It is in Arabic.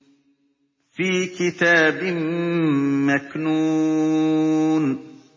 فِي كِتَابٍ مَّكْنُونٍ